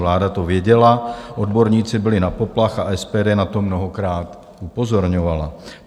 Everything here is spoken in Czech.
Vláda to věděla, odborníci bili na poplach a SPD na to mnohokrát upozorňovala.